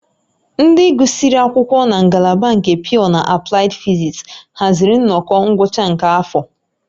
Ndị gụsịrị akwụkwọ na ngalaba nke Pyọọ na Aplaịd Fizis haziri nnọkọ ngwụcha nke afọ